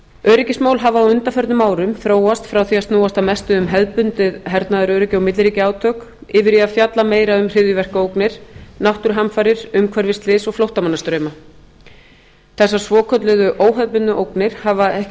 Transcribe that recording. öryggismál hafa á undanförnum árum þróast frá því að snúast að mestu um hefðbundið hernaðaröryggi og milliríkjaátök yfir í að fjalla meira um hryðjuverkaógnir náttúruhamfarir umhverfisslys og flóttamannastrauma þessar svokölluðu óhefðbundnu ógnir hafa ekki